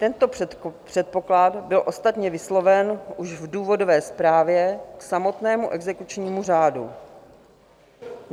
Tento předpoklad byl ostatně vysloven už v důvodové zprávě k samotnému exekučnímu řádu.